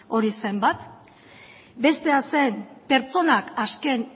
hori zen bat bestea zen pertsonak azken